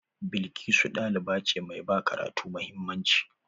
Blkisu ɗaliba ce mai ba karatu mahimmanci.